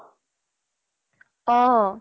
অহ